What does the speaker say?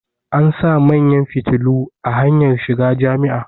an sa manyan fitilu a hanyar shiga Jami'a